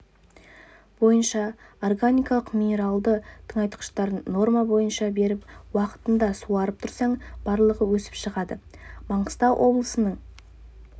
бойынша органикалық минералды тыңайтқыштарын норма бойынша беріп уақытында суарып тұрсаң барлығы өсіп шығады маңғыстау облысының